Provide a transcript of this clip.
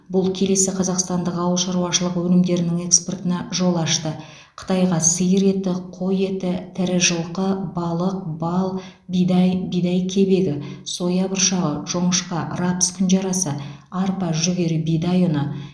бұл келесі қазақстандық ауыл шаруашылығы өнімдерінің экспортына жол ашты қытайға сиыр еті қой еті тірі жылқы балық бал бидай бидай кебегі соя бұршағы жоңышқа рапс күнжарасы арпа жүгері бидай ұны